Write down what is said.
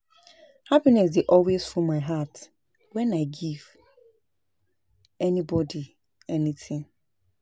Happiness dey always full my heart wen I give anybody anything